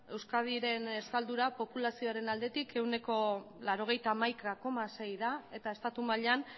euskadiren estaldura populazioaren aldetik ehuneko laurogeita hamaika koma sei da eta estatu mailan